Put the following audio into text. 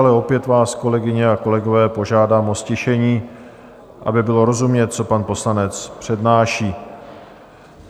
Ale opět vás, kolegyně a kolegové, požádám o ztišení, aby bylo rozumět, co pan poslanec přednáší.